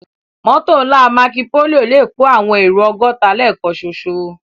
Mòtó nlá Mákópóló lè kó áwòn éró ògòtá lèkán ṣóṣó